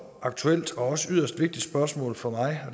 aktuelt og også yderst vigtigt spørgsmål for mig